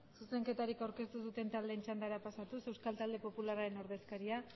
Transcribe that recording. zuzenketarik aurkeztu ez duten taldeen txandara pasatuz euskal talde popularraren ordezkaria